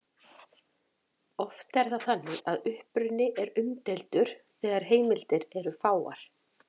Oft er það þannig að uppruni er umdeildur þegar heimildir eru fáar.